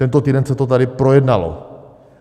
Tento týden se to tady projednalo.